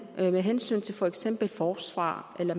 med hensyn til for eksempel forsvar eller